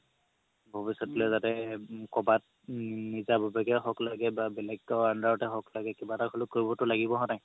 ভৱিষ্যতে যাতে কবাত উম নিজা ভাবে হওক লাগে বা বেলেগ কাবাৰ under তে হওক লাগে কিবা এটা হ'লেও কৰিব লাগিব হয় নে নাই